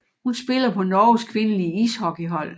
Hun spiller på Norges kvindelige ishockeyhold